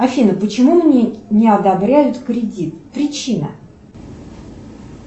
афина почему мне не одобряют кредит причина